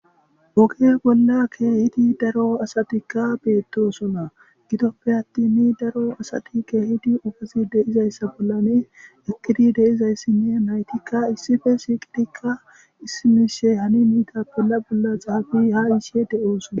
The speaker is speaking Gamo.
woge bolla keehidi daro asatikka beettosona gidoppe attini daro asati keehidi ufazi deizayssa bollane eqkidi deizayssinne naytikka issife siiqidikka issimishe hani miita bella bolla xaafi ha iishe de7oosona